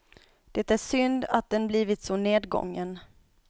Det är synd att den blivit så nedgången.